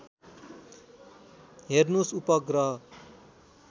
हेर्नुस् उपग्रह